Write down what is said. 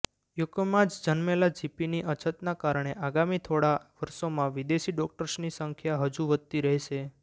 યુકેમાં જ જન્મેલા જીપીની અછતના કારણે આગામી થોડાં વર્ષોમાં વિદેશી ડોક્ટર્સની સંખ્યા હજુ વધતી રહેશે